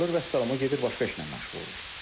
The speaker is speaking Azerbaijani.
Vəssalam, o gedir başqa işlə məşğul olur.